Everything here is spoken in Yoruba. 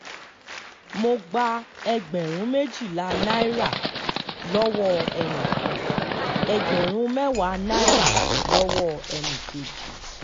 mo gba ẹgbẹ̀rún méjìlá náírà lọ́wọ́ ẹnì kan ẹgbẹ̀rún mẹ́wàá náírà lọ́wọ́ ẹnì kejì